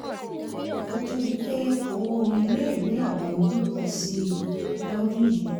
kó tó di pé owó iléèwé àwọn ọmọdé pọ̀ sí i lọ́dún yìí